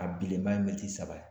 A bilenba ye militi saba ye